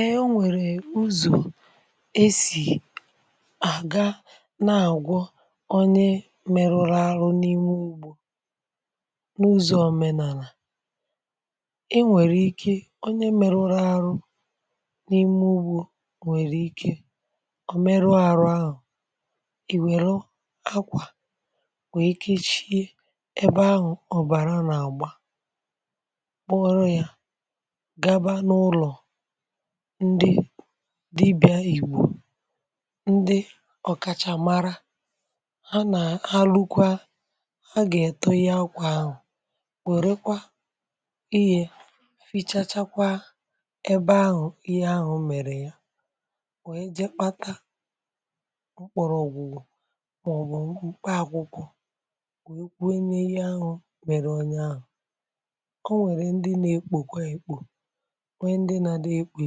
Ee nwèrè uzò esì àga na-àgwọ onye mèrụrụ arụ̇ n’ime ugbȯ n’uzo òmenàlà, ɪ́ nwèrè ike onye mèrụrụ arụ̇ n’ime ugbȯ nwèrè ike ọ̀ merụọ àrụ ahụ̀ ìwère akwà wèe kechie ebe ahụ̀ ọ̀bàra nà-àgba, kpọrọ yȧ gaba n'ụlọ ndị dịbịa ìgbò, ndị ọ̀kàchamara ha nà ha lukwa ha gà-ètọhge akwa ahụ̀, wèrekwa ihė fichachakwa ebe ahụ̀ ihe ahụ̀ mèrè ya, wee jekpata mkpọrọ̀ ògwùgwù màọ̀bù mkpa akwụkwọ wee kwuo n’ihe ahụ̀ mèrè onye ahụ̀, o nwèrè ndị na-ekpòkwa èkpò, nwee ndị na-adị ekpo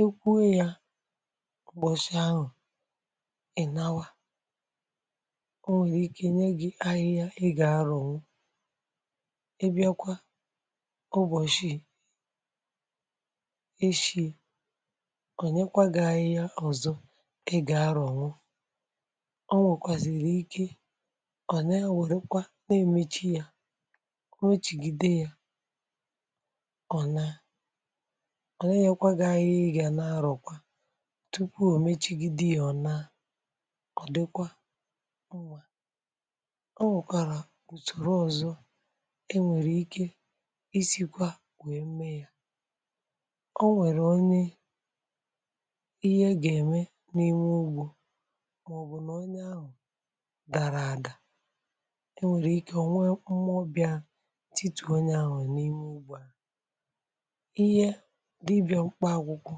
ekpo, kwuo yȧ ụ̀bọ̀chị ahụ̀, ị̀nawa, o nwèrè ike nye gị̇ ahịhịa ị gà-aro ṅụ, ị bịakwa ụbọ̀chị echì, ònyekwa gị̇ ahịhịa ọzọ ị gà-aro nụ, o nwèkwàzìrì ike ọ̀ na-ewèrekwa na-emechi yȧ, omechigido ya, onaa, ọ nà-ènyekwa gi ahịhịa ị gà n’arọ̀kwa tupu ò mechigide ọ̀naa, ọ̀ dịkwa onwe o nwekwàrà ùsòrò ọ̀zọ e nwèrè ike isikwa wee mee ya, o nwèrè onye ihe gà-ème n’ime ugbȯ màọ̀bụ̀ nà onye ahụ̀ dàrà àdà, e nwèrè ike o nwee mụọ bịà titù onye ahụ̀ n’ime ugbȯ à, ihe dibịa mkpa akwụkwọ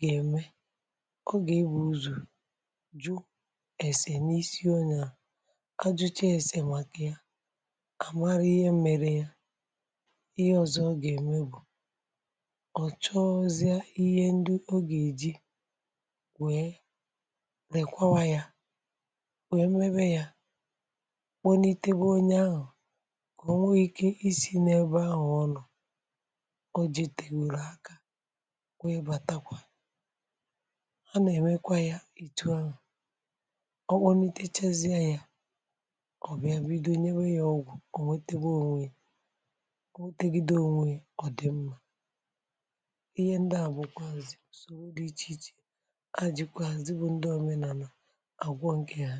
gà-ème, ọ gà-egbù ụzọ jụ esè n’isi onye a ajụcha èsè màkà ya àmarụ ihe mere ya, ihe ọzọ ọ gà-ème bụ̀ ọ̀ chọọzia ihe ndị ọ gà-èji wèe lèkwawayȧ wèe mebe yȧ, kponitebe onye ahụ̀ ka ò nwee ike isi̇ n’ebe ahụ̀ ọnọ, ojeteworo aka wee bàtakwa. Ha nà-ẹmẹkwa ya etu ahụ̀, ọ kpònitechasịa ya ọ̀bịa bido nyewe ya ọgwụ̀, ọ̀ nwẹteba onwe ya, onwetegịde onwe yà ọ dị̀ mmȧ. Ihe ndị a bụ̀ kwàzị̀ usòrọ dị ichèichè ajị̀kwàzị bụ̇ ndị omenàlà àgwọ ǹkè ha.